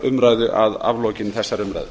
umræðu að aflokinni þessari umræðu